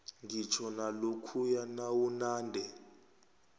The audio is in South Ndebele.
ngitjho nalokhuya nawunande